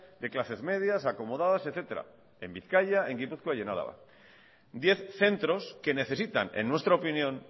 de clases medias acomodadas etcétera en bizkaia en gipuzkoa y en álava diez centros que necesitan en nuestra opinión